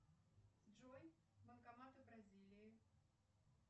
джой банкоматы бразилии